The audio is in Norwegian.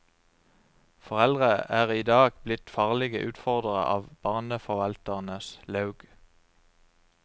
Foreldre er i dag blitt farlige utfordrere av barneforvalternes laug.